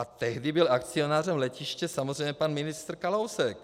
A tehdy byl akcionářem letiště samozřejmě pan ministr Kalousek.